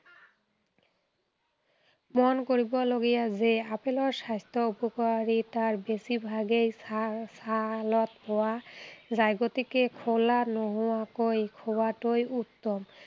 মন কৰিবলগীয়া যে আপেলৰ স্বাস্থ্য় উপকাৰিতাৰ বেছি ভাগেই ছা ছালত পোৱা যায়। গতিকে খোলা নোহোৱাকৈ খোৱাটোৱেই উত্তম।